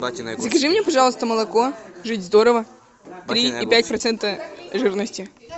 закажи мне пожалуйста молоко жить здорово три и пять процента жирности